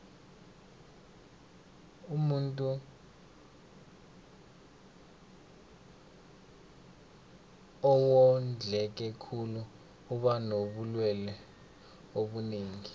umuntuu owondleke khulu uba nobulelwe obunengi